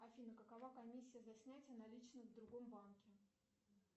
афина какова комиссия за снятие наличных в другом банке